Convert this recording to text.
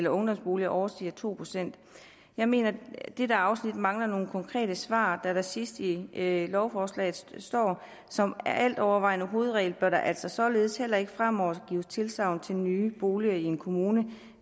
ungdomsboliger overstiger to procent jeg mener at dette afsnit mangler nogle konkrete svar da der sidst i lovforslaget står som altovervejende hovedregel bør der altså således heller ikke fremover gives tilsagn til nye boliger i en kommune